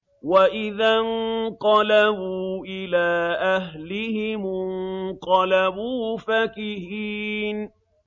وَإِذَا انقَلَبُوا إِلَىٰ أَهْلِهِمُ انقَلَبُوا فَكِهِينَ